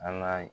An ka